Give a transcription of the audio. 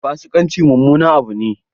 Fasikanci mummunan abu ne.